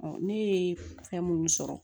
ne ye fɛn munnu sɔrɔ